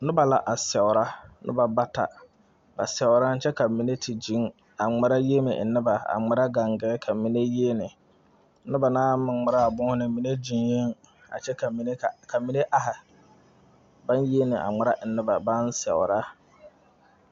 Noba la a seɛrɛ noba bata ba seɛrɛ kyɛ ka mine zeŋ zeŋ a ŋmeɛrɛ yiele enne ba a ŋmeɛrɛ gaŋgare ka mine yiele noba na naŋ ŋmeɛrɛ a boma mine zeŋɛɛ kyɛ ka mine are naŋ yiele a ŋmeɛrɛ ennɛ ba naŋ seɛrɛ